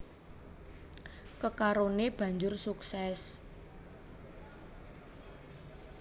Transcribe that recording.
Kekaroné banjur sukses